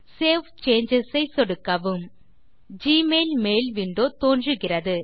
save changes ஐ சொடுக்கவும் Gmail mail window தோன்றுகிறது